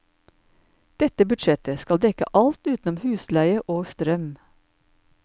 Dette budsjettet skal dekke alt utenom husleie og strøm.